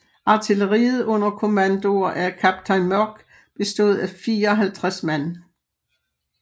Artilleriet under kommandoer af kaptajn Mörck bestod af 54 man